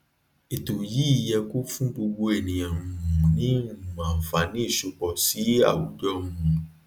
ètò yìí yẹ kó fún gbogbo ènìyàn um ní um ànfààní ìsopọ sí àwùjọ um